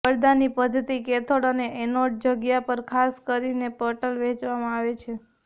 પડદાની પદ્ધતિ કેથોડ અને એનોડ જગ્યા ખાસ પટલ વહેંચવામાં આવે છે